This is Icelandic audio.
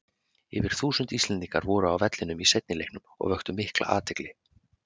Yfir þúsund Íslendingar voru á vellinum í seinni leiknum og vöktu mikla athygli.